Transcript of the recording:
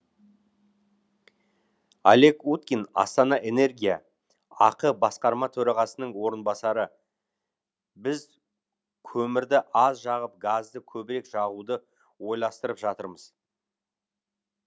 олег уткин астана энергия ақ басқарма төрағасының орынбасары біз көмірді аз жағып газды көбірек жағуды ойластырып жатырмыз